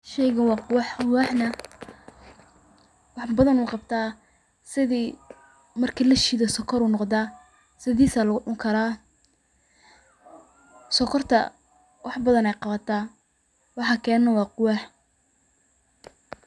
Sheygan waa qubaxa, qubaxa na wax badan uu qabta, sidi marki la shiido sokor uu noqdaa, sidiis aa lugu cuni karaa sokorta wax badan ayay qabata waxa kene na waa qubax